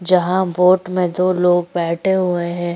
जहाँ बोट में दो लोग बैठे हुवे है।